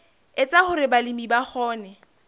etsa hore balemi ba kgone